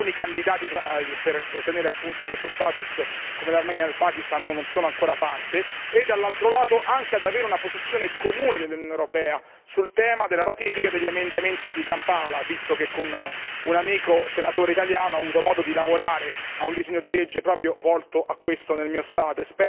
candidati, per ottenere appunto questo status come l'Armenia e il Pakistan, che non vi hanno ancora aderito e dall'altro lato anche di avere una posizione comune dell'Unione europea sul tema della ratifica degli emendamenti di Kampala, visto che con un amico senatore italiano ho avuto modo di lavorare a un disegno di legge proprio volto a questo nel mio Paese.